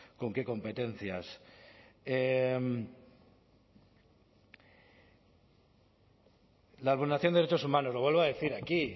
con qué competencias la vulneración de derechos humanos lo vuelvo a decir aquí